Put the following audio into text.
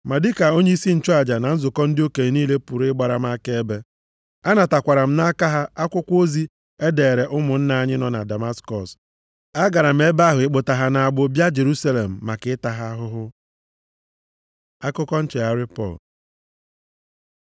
Ma dịka onyeisi nchụaja na nzukọ ndị okenye niile pụrụ ịgbara m akaebe. Anatakwara m nʼaka ha akwụkwọ ozi e deere ụmụnna anyị nọ na Damaskọs. Agara m ebe ahụ ịkpụta ha nʼagbụ bịa Jerusalem maka ịta ha ahụhụ. Akụkọ nchegharị Pọl